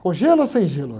Com gelo ou sem gelo?